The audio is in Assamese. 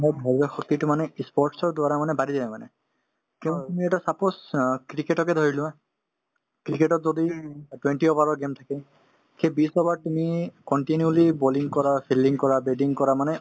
মোৰ ধৈৰ্য্য শক্তিতো মানে ই sports ৰ দ্বাৰা মানে বাঢ়ি যায় মানে কিয়নো তুমি এতিয়া suppose অ cricket কে ধৰি লোৱা cricket তত যদি অ twenty over ৰৰ game থাকে সেই বিশ over ত তুমি continuously bowling কৰা fielding কৰা batting কৰা মানে